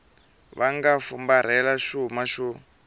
va nga fumbarhela xuma xo